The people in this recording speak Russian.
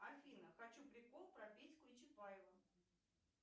афина хочу прикол про петьку и чапаева